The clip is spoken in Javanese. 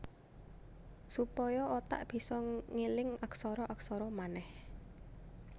Supaya otak bisa ngeling aksara aksara manèh